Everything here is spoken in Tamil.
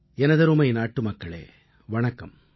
எனதருமை நாட்டுமக்களே வணக்கம்